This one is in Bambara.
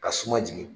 Ka suma jigin